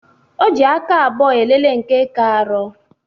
O ji aka abụọ elele nke ka arọ